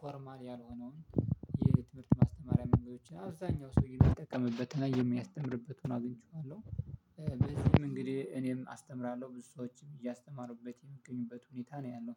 ፎርማል ያልሆነውን የትምህርት ማስተማሪያ መንገዶችን አብዛኛው ሰው የሚጠቀምበትና የሚያስተምርበት ሆኖ አግኝቼዋለሁ። በዚህም እንግዲህ እኔም አስተምራለሁ ብዙ ሰዎችን እያስተማሩበት የሚገኙበት ሁኔታ ነው ያለው